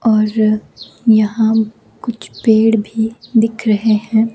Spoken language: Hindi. और यहां कुछ पेड़ भी दिख रहे हैं।